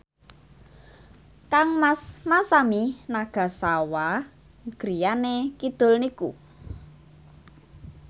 kangmas Masami Nagasawa griyane kidul niku